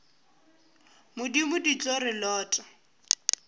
modimo di tlo re lota